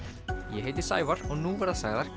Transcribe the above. ég heiti Sævar og nú verða sagðar